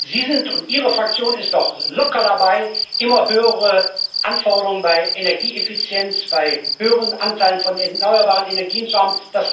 Sie und Ihre Fraktion sind doch locker dabei, immer höhere Anforderungen bei Energieeffizienz, bei höheren Anteilen von erneuerbaren Energien zu haben.